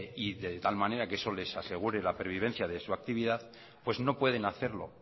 y de tal manera que eso les asegure la pervivencia de su actividad pues no pueden hacerlo